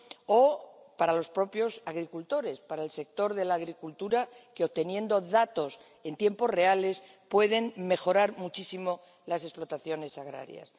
o para los propios agricultores, para el sector de la agricultura, que, obteniendo datos en tiempos reales, pueden mejorar muchísimo las explotaciones agrarias.